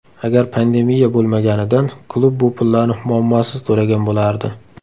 Agar pandemiya bo‘lmaganidan klub bu pullarni muammosiz to‘lagan bo‘lardi.